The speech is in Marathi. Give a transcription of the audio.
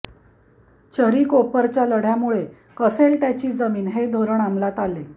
चरी कोपरच्या लढ्यामुळे कसेल त्याची जमीन हे धोरण अमलात आले